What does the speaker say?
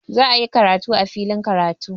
Za'ayi karatu a filin karatu.